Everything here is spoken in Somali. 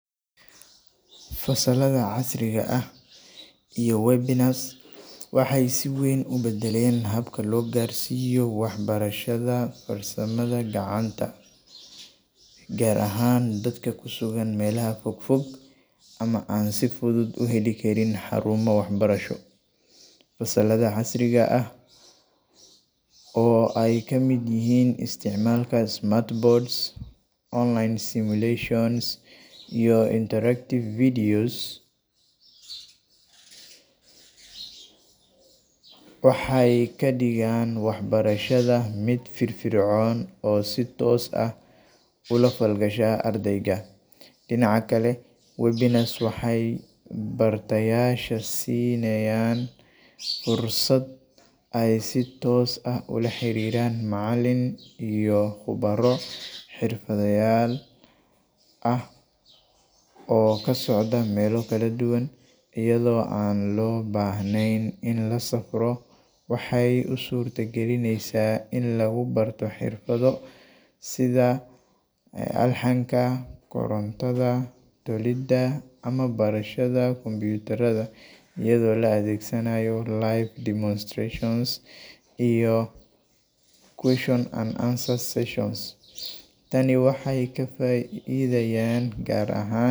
fasalada casriga ah iyo webinars waxay si weyn u badalen habka logarsiyo wax barashadha farsamadha gacanta. Gaar ahaan dadka kusugan melaha fog fog ama an si fudhud u heli Karin xarumo wax barasho. Fasalada casriga ah oo ay kamid yihin isticmalka smart boards, online simulations iyo interactive videos. Waxay kadigaan wax barashadha mid firfir cown oo so toos ah ula falgasha ardayga. Dinaca kale webalous waxay bartayasha sinayan fursad ay si toos ah ula xariran macalin iyo baro xirfadha yaal ah oo kasocda mela Kala duwan ayidho an lo bahnen in lasafro waxay u surta galineysa in lagubarto xirfadho sidha alxanka korontadha dalida ama barashada computaradha ayidho lo adegsanaya light demonstrations iyo question and answers sessions tana waxay kafaidhayan gaar ahaan.